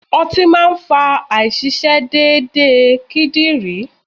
Ọtí máa ń fa àìṣiṣé déedéde kídìrí.